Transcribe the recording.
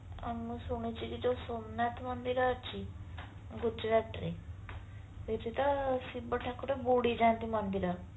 ଅ ମୁଁ ଶୁଣୁଛି କି ଯୋଉ ସୋମନାଥ ମନ୍ଦିର ଅଛି ଗୁଜୁରାଟ ରେ ଶିବ ଠାକୁର ବୁଡିଯାଆନ୍ତି ମନ୍ଦିର